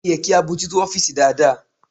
Ó yẹ kí a bójú tó ọ́fìsì dáadáa..